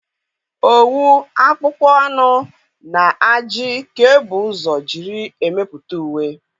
Owu, akpụkpọ anụ na ajị ka e bu ụzọ jírí emepụta uwe.